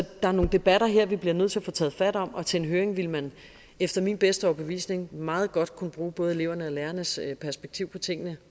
er nogle debatter her vi bliver nødt til at tage fat om og til en høring ville man efter min bedste overbevisning selvfølgelig meget godt kunne bruge både elevernes og lærernes perspektiv på tingene